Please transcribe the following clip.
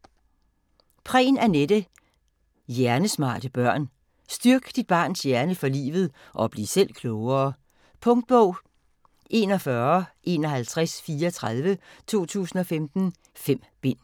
Prehn, Anette: Hjernesmarte børn Styrk dit barns hjerne for livet (og bliv selv klogere). Punktbog 415134 2015. 5 bind.